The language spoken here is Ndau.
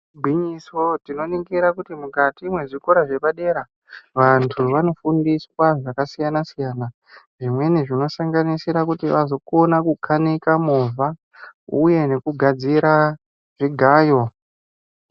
Gwinyiso, tinoningira kuti mukati mwezvikora zvepadera vantu vanofundiswa zvakasiyana siyana. Zvimweni zvinosanganisira kuti vazokona kukanika movha uye nekugadzira zvigayo.